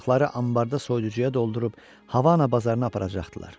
Balıqları anbarda soyuducuya doldurub Havana bazarına aparacaqdılar.